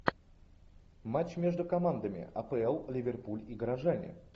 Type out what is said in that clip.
матч между командами апл ливерпуль и горожане